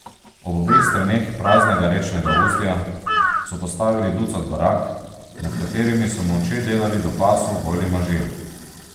Ob obeh straneh praznega rečnega ustja so postavili ducat barak, med katerimi so molče delali do pasu goli možje.